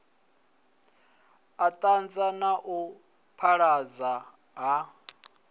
anḓadza na u phaḓaladzwa ha